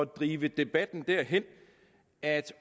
drive debatten derhen at